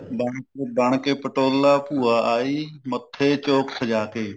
ਬਣ ਬਣ ਕੇ ਪਟੋਲਾ ਭੂਆ ਆਈ ਮੱਥੇ ਚੋਕ ਸਜਾਕੇ